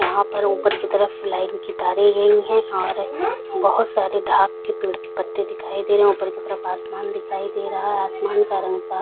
यहाँ पर ऊपर की तरफ लाइट की तारे लगी हुई है और बहोत सारे के पेड़ के पत्ते दिखाई दे रहे है ऊपर की तरफ आसमान दिखाई दे रहा है आसमान का रंग साफ़ --